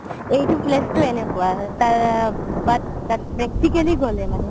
এইটো place তো এনেকুৱা but practically গ'লে মানে